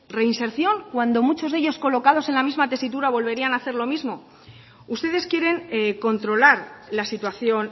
reinserción cuando muchos de ellos colocados en la misma tesitura volverían a hacer lo mismo ustedes quieren controlar la situación